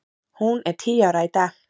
Hún er tíu ára í dag.